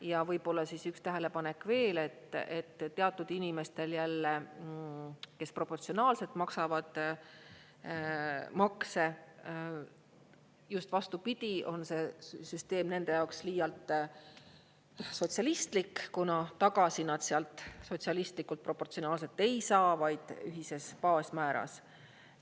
Ja võib-olla üks tähelepanek veel, et teatud inimestel jälle, kes proportsionaalselt maksavad makse, just vastupidi, on see süsteem nende jaoks liialt sotsialistlik, kuna tagasi nad sealt sotsialistlikult proportsionaalselt ei saa, vaid ühises baasmääras.